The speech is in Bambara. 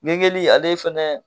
ale fana